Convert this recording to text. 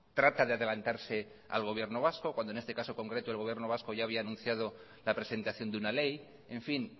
trata de adelantarse al gobierno vasco cuando en este caso concreto el gobierno vasco ya había anunciado la presentación de una ley en fin